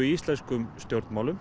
í íslenskum stjórnmálum